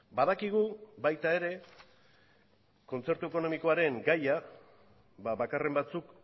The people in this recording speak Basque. badakigu baita ere kontzertu ekonomikoaren gaia bakarren batzuk